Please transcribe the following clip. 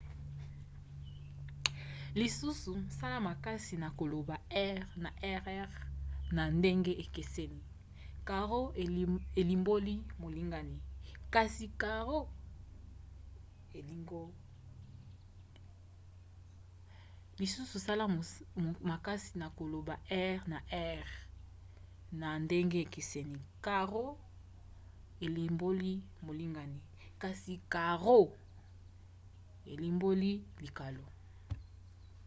lisusu sala makasi na koloba r na rr na ndenge ekeseni: caro elimboli molingani kasi carro elimboli likalo